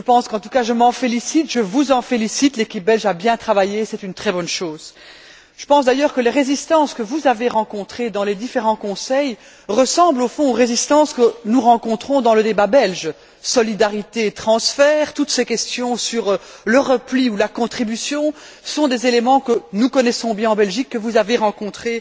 En tout cas, je m'en félicite, je vous en félicite, l'équipe belge a bien travaillé et c'est une très bonne chose. Je pense d'ailleurs que les résistances que vous avez rencontrées dans les différents Conseils ressemblent au fond aux résistances que nous rencontrons dans le débat belge solidarité, transferts, toutes ces questions sur le repli ou la contribution sont des éléments que nous connaissons bien en Belgique et que vous avez rencontrés